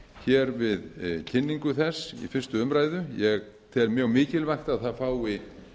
hér við kynningu þess í fyrstu umræðu ég tel mjög mikilvægt að það fái